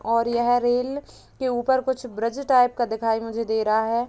और यह रेल के ऊपर कुछ ब्रिज टाइप का दिखाई मुझे दे रहा है।